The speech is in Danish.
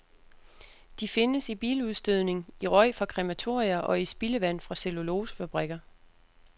De findes i biludstødning, i røg fra krematorier og i spildevand fra cellulosefabrikker.